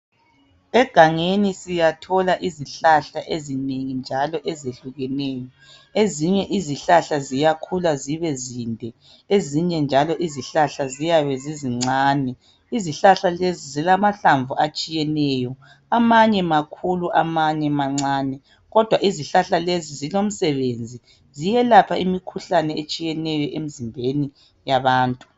Egangeni siyathola izihlahla ezinengi njalo ezehlukeneyo ezinye izihlahla ziyakhula zibezinde ezinye njalo izihlahla ziyabe zizincane. Izihlahla lezi zilamahlamvu atshiyeneyo amanye makhulu amanye mancane kodwa izihlahla lezi zilomsebenzi ziyelapha imkhuhlane etshiyeneyo emzimbeni yabantu.